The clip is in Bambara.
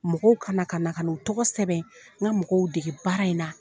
Mɔgɔw kana ka na ka na, u tɔgɔ sɛbɛn. N ka mɔgɔw dege baara in na.